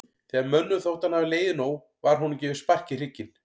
Þegar mönnum þótti hann hafa legið nóg var honum gefið spark í hrygginn.